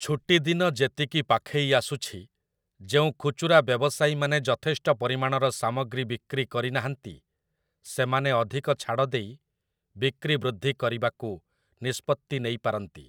ଛୁଟିଦିନ ଯେତିକି ପାଖେଇ ଆସୁଛି, ଯେଉଁ ଖୁଚୁରା ବ୍ୟବସାୟୀମାନେ ଯଥେଷ୍ଟ ପରିମାଣର ସାମଗ୍ରୀ ବିକ୍ରି କରିନାହାଁନ୍ତି, ସେମାନେ ଅଧିକ ଛାଡ଼ ଦେଇ ବିକ୍ରି ବୃଦ୍ଧି କରିବାକୁ ନିଷ୍ପତ୍ତି ନେଇପାରନ୍ତି ।